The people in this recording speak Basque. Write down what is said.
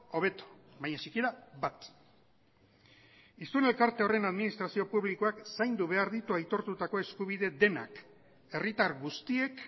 hobeto baina sikiera bat hiztun elkarte horren administrazio publikoak zaindu behar ditu aitortutako eskubide denak herritar guztiek